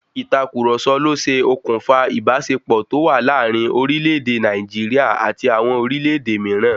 Ìtàkurọ̀sọ ló ṣe òkùnfà ìbáṣepọ̀ tó wà láàrin orílẹ̀ èdè Nàìjíríà àti àwọn orílẹ̀-èdè míràn.